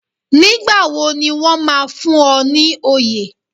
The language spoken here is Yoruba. Nígbà wo ni wọ́n máa fún ọ ní oyè